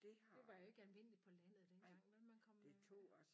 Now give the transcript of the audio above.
Det var jo ikke almindeligt på landet dengang vel man kom øh